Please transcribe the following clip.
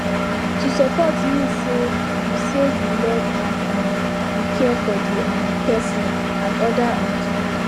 to support mean say you say you love and um you care for the um person and other um people